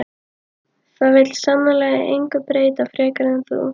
Það vill sannarlega engu breyta frekar en þú.